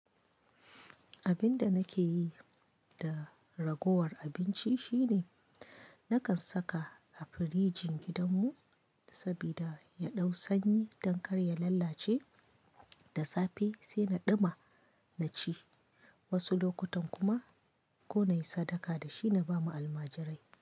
Abin da nake yi da ragowar abinci shine nakan saka a firijin gidanmu saboda ya ɗau sanyi don kar ya lalace, da safe sai na ɗuma na ci, wasu lokutan kuma ko na yi sadaka da shi na ba ma almajirai.